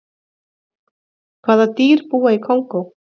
hvaða dýr búa í kongó